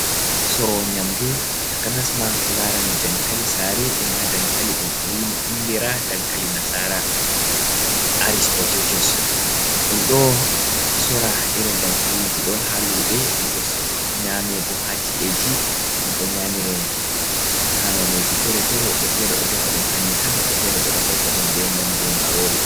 Sorowo nyamdu, takanas ma ko larani dankali saare, e ma dankali ɗum andiraa dankali nasara, airish potetos. Ɗum ɗo sora irin dankaliji ɗo haa luɓe, ɗum ɗo nyaame bo ha ci’eji. Ɗum ɗo nyamire haa noneji fere-fere. Woɓɓe fere ɗo defa ɗum hanjum tan, woɓɓe fere bo ɗo hauta ɗum be nyamdu marori.